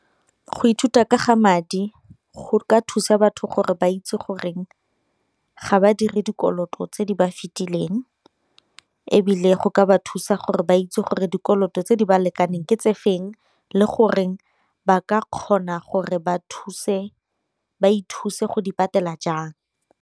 Go ithuta ka ga madi go ka thusa batho gore ba itse goreng ga ba dire dikoloto tse di ba fitileng, ebile go ka batho thusa gore ba itse gore dikoloto tse di ba lekaneng ke tse feng le goreng ba ka kgona gore ba ithuse go di patela jang.